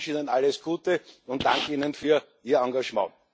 Ich wünsche Ihnen alles Gute und danke Ihnen für Ihr Engagement.